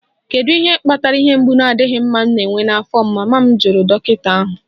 Kedu ihe kpatara ihe mgbu na-adịghị mma m na-enwe n'afọ m?, mama m jụrụ dọkịta ahụ.